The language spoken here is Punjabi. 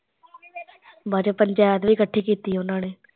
ਬਾਦ ਚੋਂ ਪੰਚੇਤ ਵੀ ਕੱਠੀ ਕੀਤੀ ਉਹਨਾਂ ਨੇ